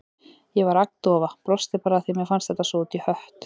Ég var agndofa, brosti bara af því að mér fannst þetta svo út í hött.